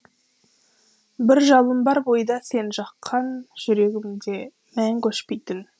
бір жалын бар бойда сен жаққан жүрегімде мәңгі өшпейтін